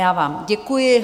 Já vám děkuji.